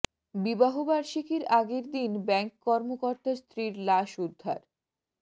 বিবাহ বার্ষিকীর আগের দিন ব্যাংক কর্মকর্তার স্ত্রীর লাশ উদ্ধার